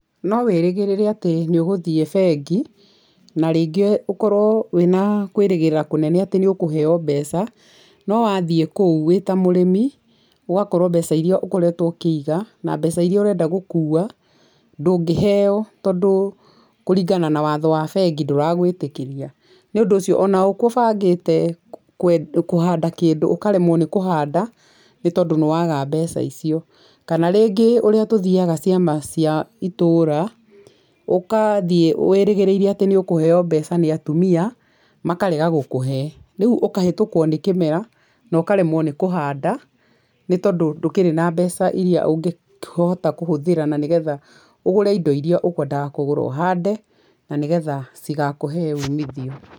No wĩrĩgĩrrĩe atĩ nĩ ũgũthiĩ bengi, na rĩngĩ ũkorwo wĩna kwĩrĩgĩrĩra kũnene atĩ nĩ ũkũheo mbeca, no wathiĩ kũu wĩta mũrĩmi ũgakorwo mbeca iria ũkoretwo ũkĩiga na mbeca iria ũrenda gũkua ndũngĩheo tondũ kũringana na watho wa bengi ndũragwĩtĩkĩria. Nĩ ũndũ ũcio ona ona ũkũbangĩte kũhanda kĩndũ ũkaremwo nĩ kũhanda nĩ tondũ nĩ waga mbeca icio. Kana rĩngĩ ũríĩ tũthiaga ciama cia itũũra, ũgathiĩ wĩrĩgĩrĩire atĩ nĩ ũkũheo mbeca nĩ atumia, makarega gũkũhee. Rĩu ũkahĩtũkwo nĩ kĩmera na ũkaremwo nĩ kũhanda nĩ tondũ ndũkĩrĩ na mbeca iria ũngĩkĩhota kũhũthĩra na nĩ getha ũgũre indo iria ũkwendaga kũgũra ũhande na nĩ getha cigakũhee umithio.